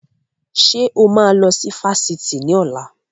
Ṣé o máa lọ sí Fáṣítì ni ọ̀la?